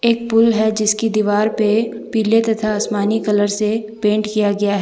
एक पुल है जिसकी दीवार पे पीले तथा आसमानी कलर से पेंट किया गया है।